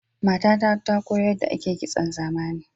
Matata ta koyo yadda ake kitson zamani.